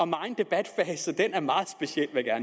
megen debat er meget speciel vil jeg